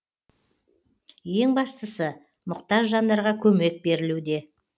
ең бастысы мұқтаж жандарға көмек берілуде